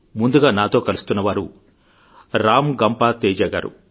ముందుగా నాతో కలుస్తున్నవారు రామ్ గంప తేజా గారు